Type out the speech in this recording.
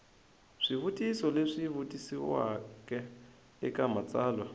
swivutiso leswi vutisiweke eka matsalwa